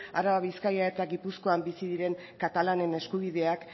araba bizkaia eta gipuzkoan bizi diren katalanen eskubideak